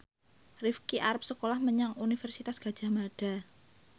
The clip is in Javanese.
Rifqi arep sekolah menyang Universitas Gadjah Mada